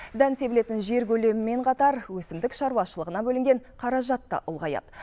дән себілетін жер көлемімен қатар өсімдік шаруашылығына бөлінген қаражат та ұлғаяды